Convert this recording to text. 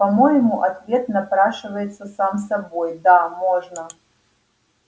по-моему ответ напрашивается сам собой да можно